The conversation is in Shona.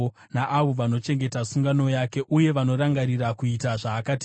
naavo vanochengeta sungano yake uye vanorangarira kuita zvaakatema.